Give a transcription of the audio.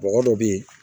Bɔgɔ dɔ bɛ yen